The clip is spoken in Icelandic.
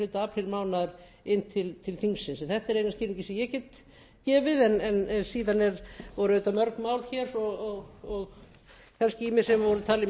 aprílmánaðar inn til þingsins þetta er eina skýringin sem ég get gefið en síðan voru auðvitað mörg mál hér og kannski ýmis sem voru talin